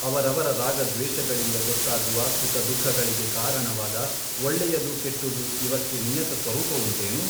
ಅವರವರ ರಾಗದ್ವೇಷಗಳಿಂದ ಗೊತ್ತಾಗುವ ಸುಖದುಃಖಗಳಿಗೆ ಕಾರಣವಾದ ಒಳ್ಳೆಯದು ಕೆಟ್ಟುದು ಇವಕ್ಕೆ ನಿಯತ ಸ್ವರೂಪವುಂಟೇನು?